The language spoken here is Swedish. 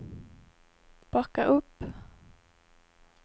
backa upp